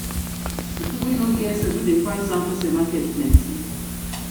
people wey no get sense wey dey price down person market plenty.